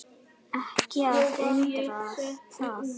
Ekki að undra það.